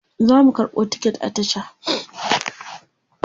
zasu karɓo ticket a tasha